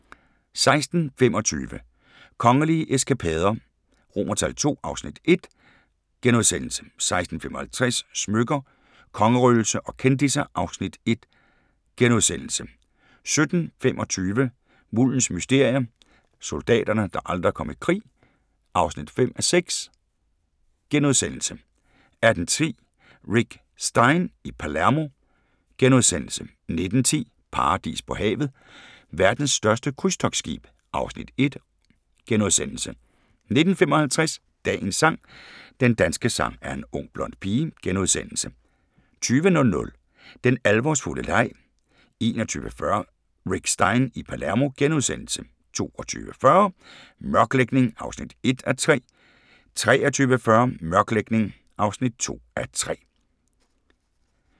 16:25: Kongelige eskapader II (Afs. 1)* 16:55: Smykker – Kongerøgelse og kendisser (Afs. 1)* 17:25: Muldens mysterier – soldaterne, der aldrig kom i krig (5:6)* 18:10: Rick Stein i Palermo * 19:10: Paradis på havet – Verdens største krydstogtskib (Afs. 1)* 19:55: Dagens sang: Den danske sang er en ung blond pige * 20:00: Den alvorsfulde leg 21:40: Rick Stein i Palermo * 22:40: Mørklægning (1:3) 23:40: Mørklægning (2:3)